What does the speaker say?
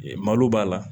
Ee malo b'a la